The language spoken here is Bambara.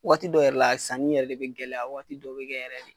Waati dɔw yɛrɛ la sanni yɛrɛ de be gɛlɛya , waati dɔ be kɛ yɛrɛ de.